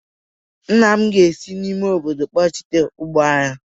nna m ga-esi n'ime obodo kpọghachite ụgba anyị